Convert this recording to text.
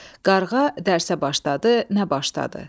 Qarğa dərsə başladı, nə başladı?